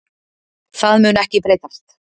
Það mun ekki breytast.